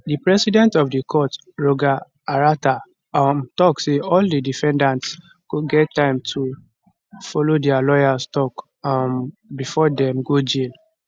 di president of di court roger arata um tok say all di defendants go get di time to follow dia lawyers tok um bifor dem go jail